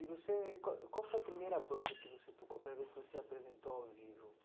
E você, qual qual foi a primeira banda que você tocou, a primeira vez que você apresentou ao vivo?